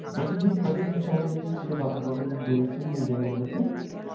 কতদিন কতদিন সময় লেগেছিল বা আপনি কতদিন ঘুরেছিলেন এই জায়গাগুলোতে